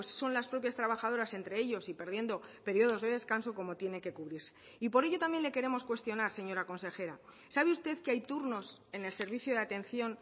son las propias trabajadoras entre ellos y perdiendo periodos de descanso como tienen que cubrirse y por ello también le queremos cuestionar señora consejera sabe usted que hay turnos en el servicio de atención